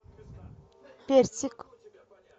персик